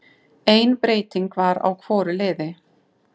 Ein breyting var á hvoru liði.